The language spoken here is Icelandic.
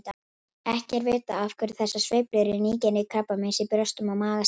Ekki er vitað af hverju þessar sveiflur í nýgengi krabbameins í brjóstum og maga stafa.